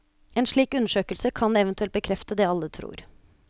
En slik undersøkelse kan eventuelt bekrefte det alle tror.